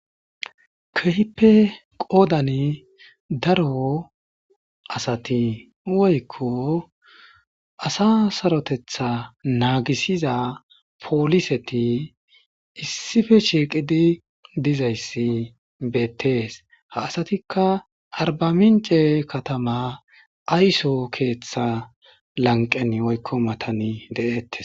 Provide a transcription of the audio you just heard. Kehippe qoodani daro asati woykko asa sarotetha naagisiza pooliseti issife shiiqidi dizayssi beettees ha asatikka arbamince katama ayso keeththa lanqen woykko matani de7ettes.